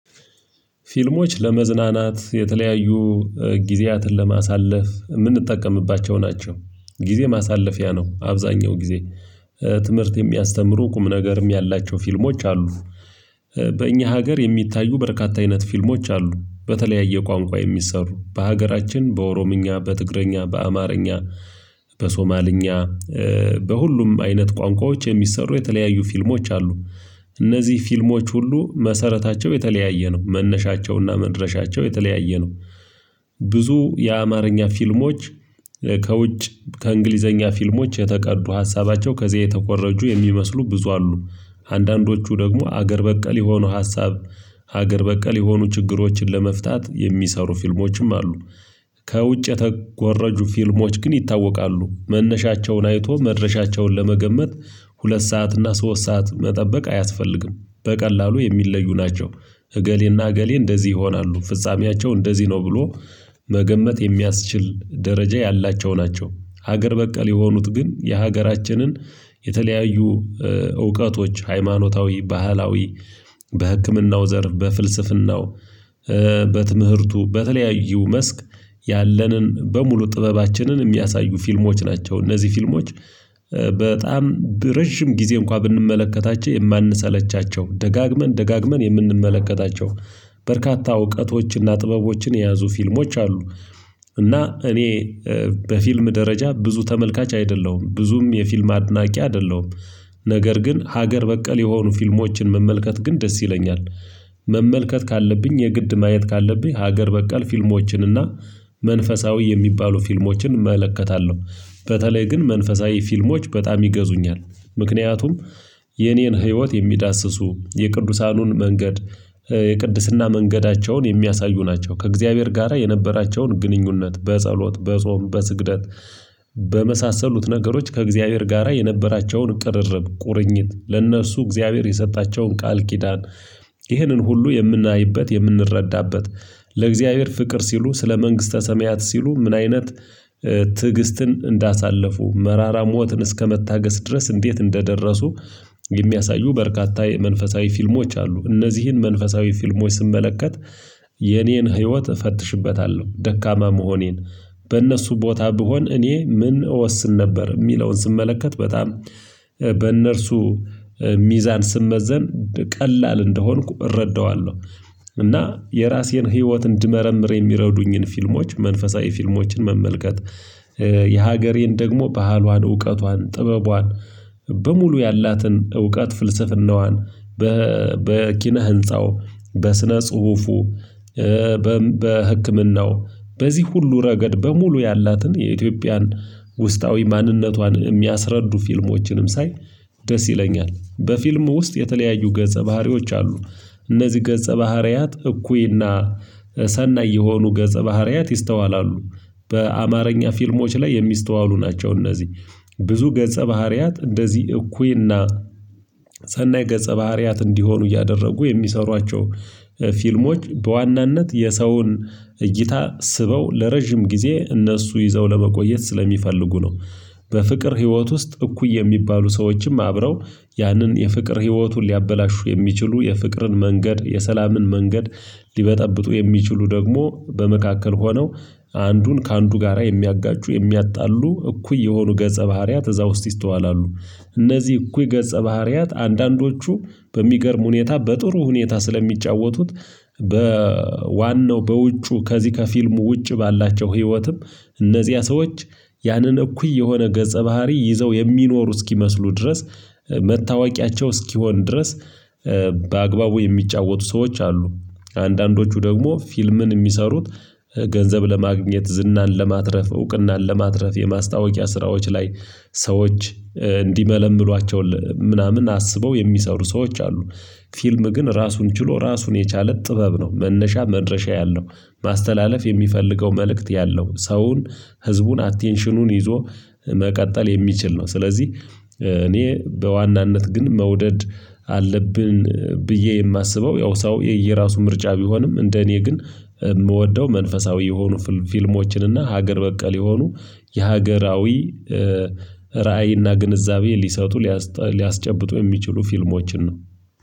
ፊልሞች ለመዝናናት የተለያዩ ጊዜያትን ለማሳለፍ የምንጠቀምባቸው ናቸው ጊዜ ማሳለፊያ ነው። አብዛኛው ጊዜ ትምህርት የሚያስተምሩ ቁም ነገርም ያላቸው ፊልሞች አሉ። በእኛ ሀገር የሚታዩ በርካታ አይነት ፊልሞች አሉ በተለያየ ቋንቋ የሚሰሩ በሀገራችን በኦሮምኛ በትግረኛ በአማርኛ በሶማልኛ በሁሉም አይነት ቋንቋዎች የሚሰሩ የተለያዩ ፊልሞች አሉ። እነዚህ ፊልሞች ሁሉ መሰረታቸው የተለያየ ነው መነሻቸውና መድረሻቸው የተለያየ ነው። ብዙ የአማርኛ ፊልሞች ከውጭ ከእንግሊዘኛ ፊልሞች የተቀዱ ሀሳባቸው ከዚያ የተኮረጁ የሚመስሉ ብዙ አሉ አንዳንዶቹ ደግሞ አገር በቀል የሆኑ ሀሳብ ሀገር በቀል የሆኑ ችግሮችን ለመፍታት የሚሰሩ ፊልሞችም አሉ። ከውጭ የተኮረጁ ፊልሞች ግን ይታወቃሉ መነሻቸውን አይቶ መድረሻቸውን ለመገመት ሁለት ሰዓት እና ሶስት ሰዓት መጠበቅ አያስፈልግም በቀላሉ የሚለዩ ናቸው። እገሌና እገሌ እንደዚህ ይሆናሉ ፍጻሜያቸው እንደዚህ ነው ብሎ መገመት የሚያስችል ደረጃ ያላቸው ናቸው። ሀገር በቀል የሆኑት ግን የሀገራችንን የተለያዩ እውቀቶች ሃይማኖታዊ ባህላዊ በህክምናው ዘርፍ በፍልስፍናው በትምህርቱ በተለያዩ መስክ ያለንን በሙሉ ጥበባችንን የሚያሳዩ ፊልሞች ናቸው እነዚህ ፊልሞች። በጣም ረጅም ጊዜ እንኳን ብንመለከታቸው የማንሰለቻቸው ደጋግመን ደጋግመን የምንመለከታቸው በርካታ እውቀቶችና ጥበቦችን የያዙ ፊልሞች አሉ። እና እኔ በፊልም ደረጃ ብዙ ተመልካች አይደለሁም ብዙም የፊልም አድናቂ አይደለሁም። ነገር ግን ሀገር በቀል የሆኑ ፊልሞችን መመልከት ግን ደስ ይለኛል። መመልከት ካለብኝ የግድ ማየት ካለብኝ ሀገር በቀል ፊልሞችን እና መንፈሳዊ የሚባሉ ፊልሞችን እመለከታለሁ በተለይ ግን መንፈሳዊ ፊልሞች በጣም ይገዙኛል። ምክንያቱም የኔን ህይወት የሚዳስሱ የቅዱሳኑን መንገድ የቅድስና መንገዳቸውን የሚያሳዩ ናቸው ከእግዚአብሔር ጋራ የነበራቸውን ግንኙነት በጸሎት በጾም በስግደት በመሳሰሉት ነገሮች ከእግዚአብሔር ጋራ የነበራቸውን ቅርርብ ቁርኝት ለእነሱ እግዚአብሔር የሰጣቸውን ቃል ኪዳን። ይህንን ሁሉ የምናይበት የምንረዳበት ለእግዚአብሔር ፍቅር ሲሉ ስለ መንግስተ ሰማያት ሲሉ ምን አይነት ትዕግስትን እንዳሳለፉ መራራ ሞትን እስከመታገስ ድረስ እንዴት እንደደረሱ። የሚያሳዩ በርካታ የመንፈሳዊ ፊልሞች አሉ እነዚህን መንፈሳዊ ፊልሞች ስመለከት የኔን ህይወት እፈትሽበታለሁ ደካማ መሆኔን በእነሱ ቦታ ብሆን እኔ ምን እወስን ነበር የሚለውን ስመለከት በጣም በእነርሱ ሚዛን ስመዘን ቀላል እንደሆንኩ እረዳዋለሁ። እና የራሴን ህይወት እንድመረምር የሚረዱኝን ፊልሞች መንፈሳዊ ፊልሞችን መመልከት። የሀገሬን ደግሞ ባህሏን እውቀቷን ጥበቧን በሙሉ ያላትን እውቀት ፍልስፍናዋን በበኪነ ህንፃው በስነ ጽሁፉ በም በህክምናው በዚህ ሁሉ ረገድ በሙሉ ያላትን የኢትዮጵያን ውስጣዊ ማንነቷን የሚያስረዱ ፊልሞችንም ሳይ ደስ ይለኛል። በፊልሙ ውስጥ የተለያዩ ገጸ ባህሪዎች አሉ። እነዚህ ገጸ ባህሪያት እኩይና ሰናይ የሆኑ ገጸ ባህሪያት ይስተዋላሉ። በአማርኛ ፊልሞች ላይ የሚስተዋሉ ናቸው። እነዚህ ብዙ ገጸ ባህሪያት እንደዚህ እኩይና ሰናይ ገጸ ባህሪያት እንዲሆኑ እያደረጉ የሚሰሯቸው ፊልሞች በዋናነት የሰውን እይታ ስበው ለረጅም ጊዜ እነሱ ይዘው ለመቆየት ስለሚፈልጉ ነው። በፍቅር ህይወት ውስጥ እኩይ የሚባሉ ሰዎችም አብረው ያንን የፍቅር ህይወቱን ሊያበላሹ የሚችሉ የፍቅርን መንገድ የሰላምን መንገድ ሊበጠብጡ የሚችሉ ደግሞ በመካከል ሆነው አንዱን ከአንዱ ጋራ የሚያጋጩ የሚያጣሉ እኩይ የሆኑ ገጸ ባህሪያት እዛ ውስጥ ይስተዋላሉ። እነዚህ እኩይ ገጸ ባህሪያት አንዳንዶቹ በሚገርም ሁኔታ በጥሩ ሁኔታ ስለሚጫወቱት በዋናው በውጩ ከዚህ ከፊልሙ ውጭ ባላቸው ህይወትም እነዚያ ሰዎች ያንን እኩይ የሆነ ገጸ ባህሪ ይዘው የሚኖሩ እስኪመስሉ ድረስ መታወቂያቸው እስኪሆን ድረስ በአግባቡ የሚጫወቱ ሰዎች አሉ። አንዳንዶቹ ደግሞ ፊልምን የሚሰሩት ገንዘብ ለማግኘት ዝናን ለማትረፍ እውቅናን ለማትረፍ የማስታወቂያ ስራዎች ላይ ሰዎች እንዲመለምሏቸው ምናምን አስበው የሚሰሩ ሰዎች አሉ። ፊልም ግን ራሱን ችሎ ራሱን የቻለ ጥበብ ነው መነሻ መድረሻ ያለው ማስተላለፍ የሚፈልገው መልእክት ያለው ሰውን ህዝቡን አቴንሽኑን ይዞ መቀጠል የሚችል ነው። ስለዚህ እኔ በዋናነት ግን መውደድ አለብን ብዬ የማስበው ያው ሰው የየራሱ ምርጫ ቢሆንም እንደ እኔ ግን የምወደው መንፈሳዊ የሆኑ ፍልም ፊልሞችን እና ሀገር በቀል የሆኑ የሀገራዊ ራዕይ እና ግንዛቤ ሊሰጡ ሊያስጠ ሊያስጨብጡ የሚችሉ ፊልሞችን ነው